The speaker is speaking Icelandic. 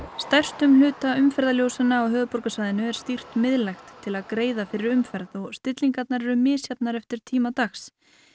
stærstum hluta umferðarljósanna á höfuðborgarsvæðinu er stýrt miðlægt til að greiða fyrir umferð og stillingarnar eru misjafnar eftir tíma dags